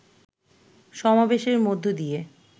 সমাবেশের মধ্য দিয়ে